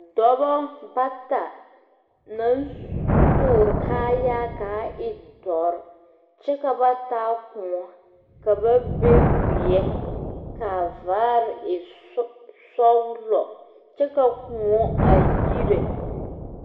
Dɔbo bata naŋ tɔɔre kaayaa kaa e dɔre kyɛ ka ba taa koɔ ka ba be wiɛ kaa vaare e sɔglɔ kyɛ ka koɔ a yire.